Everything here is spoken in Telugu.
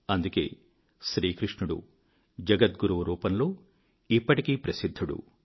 అందుకే శ్రీ కృష్ణుడు జగద్గురువు రూపంలో ఇప్పటికీ ప్రసిద్ధుడు